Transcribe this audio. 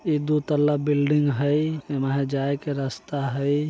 ई दो तल्ला बिल्डिंग हई ये मे है जाए के रास्ता हई।